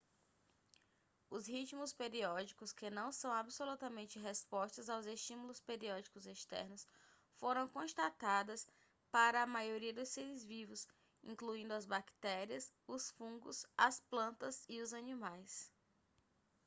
os ritmos periódicos que não são absolutamente respostas aos estímulos periódicos externos foram constatadas para a maioria dos seres vivos incluindo as bactérias os fungos as plantas e os animais